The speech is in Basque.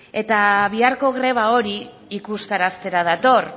biharko greba hori ikustaraztera dator